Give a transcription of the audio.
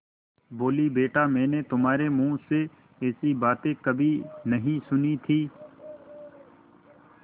बोलीबेटा मैंने तुम्हारे मुँह से ऐसी बातें कभी नहीं सुनी थीं